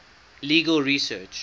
legal research